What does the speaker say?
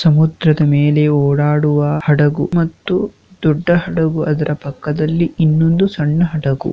ಸಮುದ್ರದ ಮೇಲೆ ಒಡಾಡುವ ಹಡಗು ಮತ್ತು ದೊಡ್ಡ ಹಡಗು ಅದರ ಪಕ್ಕದಲ್ಲಿ ಇನ್ನೊಂದು ಸಣ್ಣ ಹಡಗು --